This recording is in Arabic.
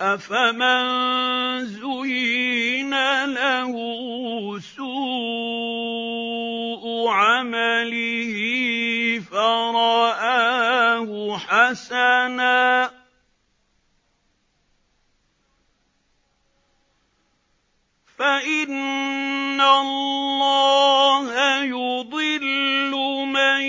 أَفَمَن زُيِّنَ لَهُ سُوءُ عَمَلِهِ فَرَآهُ حَسَنًا ۖ فَإِنَّ اللَّهَ يُضِلُّ مَن